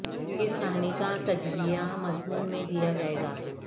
اس کہانی کا تجزیہ مضمون میں دیا جائے گا